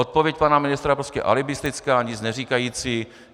Odpověď pana ministra je prostě alibistická, nic neříkající.